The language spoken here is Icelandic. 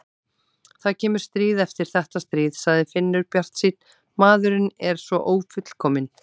Það kemur stríð eftir þetta stríð, sagði Finnur bjartsýnn, maðurinn er svo ófullkominn.